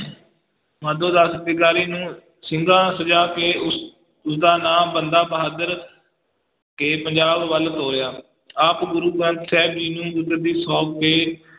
ਮਾਧੋ ਦਾਸ ਵੈਗਾਰੀ ਨੂੰ ਸਿੰਘਾਂ ਸਜਾ ਕੇ ਉਸ, ਉਸਦਾ ਨਾਂ ਬੰਦਾ ਬਹਾਦਰ ਤੇ ਪੰਜਾਬ ਵੱਲ ਤੋਰਿਆ ਆਪ ਗੁਰੂ ਗ੍ਰੰਥ ਸਾਹਿਬ ਜੀ ਨੂੰ ਗੁਰਗੱਦੀ ਸੌਂਪ ਕੇ